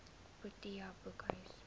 protea boekhuis